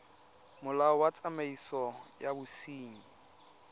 molao wa tsamaiso ya bosenyi